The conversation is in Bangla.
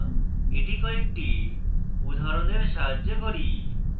এটি কয়েকটি উদাহরণের সাহায্যে করি